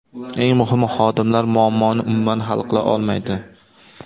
Eng muhimi xodimlar muammoni umuman hal qila olmaydi.